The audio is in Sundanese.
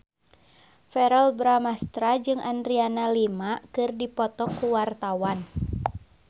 Verrell Bramastra jeung Adriana Lima keur dipoto ku wartawan